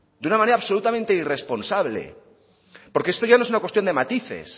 de una manera absolutamente irresponsable porque esto ya no es una cuestión de matices